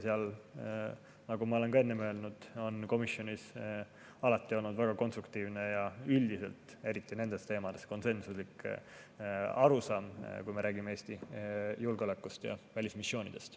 Ja nagu ma olen ka enne öelnud, on komisjonis alati olnud väga konstruktiivne ja üldiselt, eriti nende teemade puhul, konsensuslik arusaam, kui me räägime Eesti julgeolekust ja välismissioonidest.